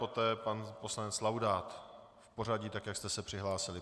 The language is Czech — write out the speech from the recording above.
Poté pan poslanec Laudát v pořadí, tak jak jste se přihlásili.